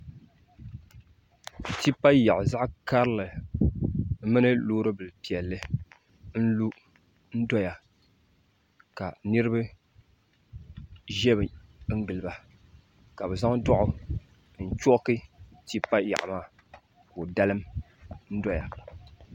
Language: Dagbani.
Tipa yaɣu zaɣ karili mini loori bili piɛlli n lu n doya ka niraba ʒɛ n giliba ka bi zaŋ doɣu n chooki tipa loɣu maa ka di dalim doya